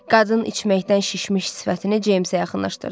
Qadın içməkdən şişmiş sifətini Ceymsə yaxınlaşdırdı.